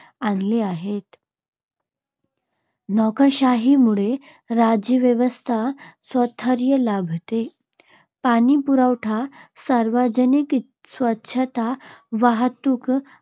आणले आहेत. नोकरशाहीमुळे राज्यव्यवस्थेला स्थैर्य लाभते. पाणीपुरवठा, सार्वजनिक स्वच्छता, वाहतूक,